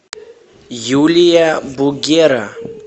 юлия бугера